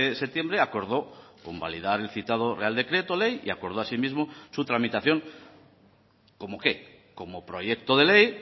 septiembre acordó convalidar el citado real decreto ley y acordó asimismo su tramitación cómo qué como proyecto de ley